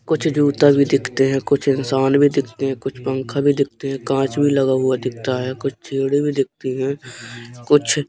कुछ जूता भी दिखते हैं कुछ इंसान भी दिखते हैं कुछ पंखा भी दिखते हैं कांच भी लगा हुआ दिखता है कुछ चेयड़े भी दिखती हैं कुछ--